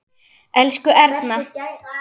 Elsku Erna.